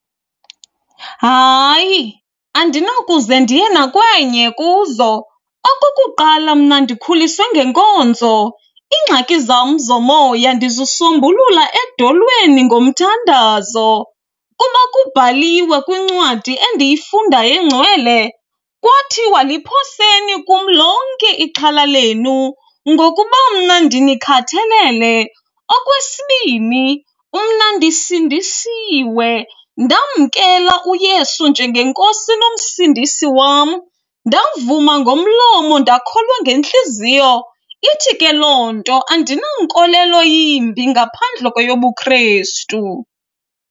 Hayi, andinawukuze ndiye nakwenye kuzo. Okokuqala, mna ndikhuliswe ngenkonzo, iingxaki zam zomoya ndizisombulula edolweni ngomthandazo. Kuba kubhaliwe kwincwadi endiyifundayo engcwele kwathiwa liphoseni kum lonke ixhala lenu ngokuba mna ndinikhathalele. Okwesibini, mna ndisindisiwe ndamkela uYesu njengeNkosi noMsindisi wam, ndavuma ngomlomo ndakholwa ngentliziyo. Ithi ke loo nto andina nkolelo yimbi ngaphandle kweyobuKrestu.